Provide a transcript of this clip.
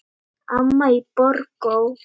Amma í Borgó.